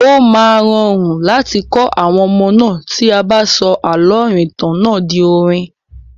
Ó máa rọrùn láti kọ àwọn ọmọ náà tí a bá sọ àlọ́ ìrìntàn náà di orin.